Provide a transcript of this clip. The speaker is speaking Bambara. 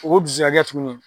O tuguni